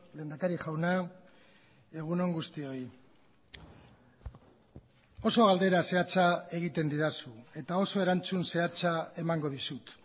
lehendakari jauna egun on guztioi oso galdera zehatza egiten didazu eta oso erantzun zehatza emango dizut